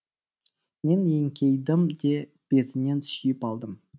мен еңкейдім де бетінен сүйіп алдым